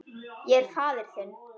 Ég er faðir þinn.